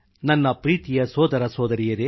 ನನ್ನ ಪ್ರೀತಿಯ ಸೋದರಸೋದರಿಯರೆ